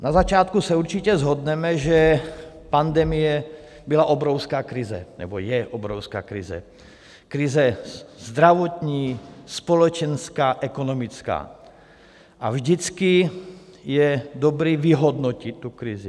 Na začátku se určitě shodneme, že pandemie byla obrovská krize nebo je obrovská krize - krize zdravotní, společenská, ekonomická, a vždycky je dobré vyhodnotit tu krizi.